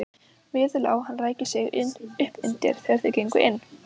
Við lá hann ræki sig uppundir þegar þeir gengu inn.